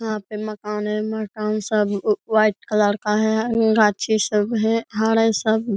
यहाँ पे मकान है। मकान सब व्हाइट कलर का है। सब है घर है सब --